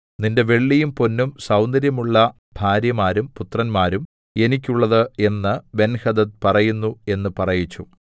നിന്റെ വെള്ളിയും പൊന്നും സൗന്ദര്യമുള്ള ഭാര്യമാരും പുത്രന്മാരും എനിക്കുള്ളത് എന്ന് ബെൻഹദദ് പറയുന്നു എന്ന് പറയിച്ചു